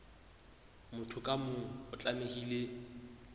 motho ka mong o tlamehile